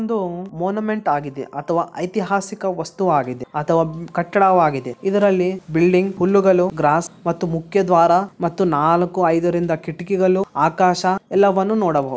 ಒಂದು ಮೋನಾಮೆಂಟ್ ಆಗಿದೆ ಅಥವಾ ಐತಿಹಾಸಿಕ ವಸ್ತು ಆಗಿದೆ ಅಥವಾ ಕಟ್ಟಡವಾಗಿದೆ ಇದರಲ್ಲಿ ಬಿಲ್ಡಿಂಗ್ ಹುಲ್ಲುಗಲ್ಲು ಗ್ರಾಸ್ ಮತ್ತು ಮುಖ್ಯ ದ್ವಾರ ಮತ್ತು ನಾಲ್ಕು ಐದರಿಂದ ಕಿಟಕಿಗಳು ಆಕಾಶ ಎಲ್ಲವನ್ನೂ ನೋಡಬಹುದು.